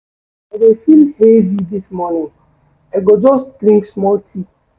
I dey feel heavy dis morning, I go just drink small tea.